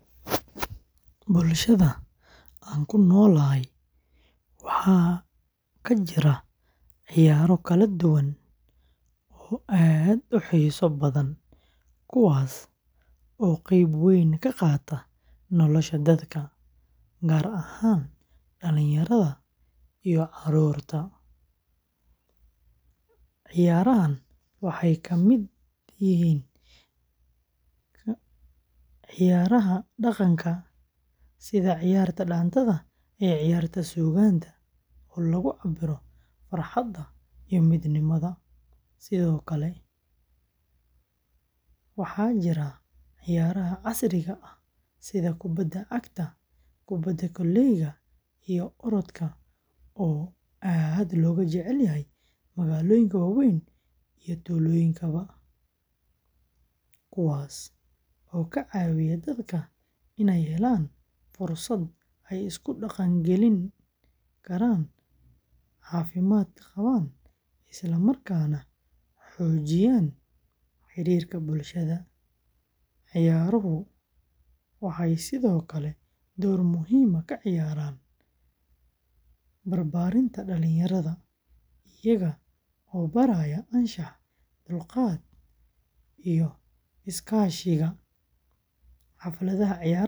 Bulshada aan ku noolahay waxaa ka jira ciyaaro kala duwan oo aad u xiiso badan kuwaas oo qayb weyn ka qaata nolosha dadka, gaar ahaan dhalinyarada iyo carruurta; ciyaarahan waxay ka mid yihiin ciyaaraha dhaqanka sida ciyaarta dhaanto iyo ciyaarta suugaan oo lagu cabbiro farxadda iyo midnimada, sidoo kale waxaa jira ciyaaraha casriga ah sida kubadda cagta, kubadda koleyga, iyo orodka oo aad looga jecel yahay magaalooyinka waaweyn iyo tuulooyinka, kuwaas oo ka caawiya dadka inay helaan fursad ay isku dhaqan-geliyaan, caafimaad qabaan, isla markaana xoojiyaan xiriirka bulshada; ciyaaruhu waxay sidoo kale door muhiim ah ka ciyaaraan barbaarinta dhalinyarada, iyaga oo baraya anshaxa, dulqaadka, iyo iskaashiga; xafladaha ciyaaraha iyo tartamada lagu qabto bulshada dhexdeeda.